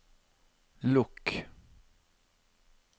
lukk